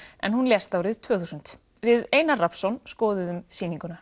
en hún lést árið tvö þúsund við Einar Rafnsson skoðuðum sýninguna